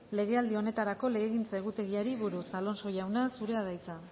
legealdi honetarako legegintza egutegiari buruz alonso jauna zurea da hitza